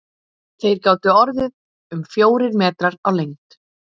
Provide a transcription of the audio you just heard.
Þeir gátu orðið um fjórir metrar á lengd.